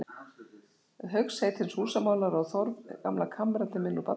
Hauks heitins húsamálara og Þórð, gamla kammeratinn minn úr barnaskóla.